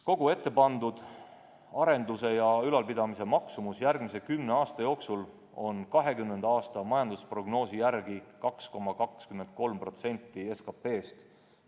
Kogu ette pandud arenduse ja ülalpidamise maksumus järgmise kümne aasta jooksul on 2020. aasta majandusprognoosi järgi 2,23% SKT-st.